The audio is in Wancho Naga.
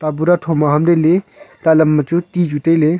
pura thom aham le le talam ma chu ti chu tailey.